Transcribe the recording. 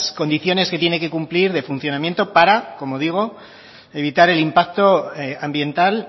condiciones que tiene que cumplir de funcionamiento para como digo evitar el impacto ambiental